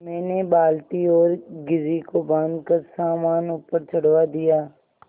मैंने बाल्टी और घिर्री को बाँधकर सामान ऊपर चढ़वा दिया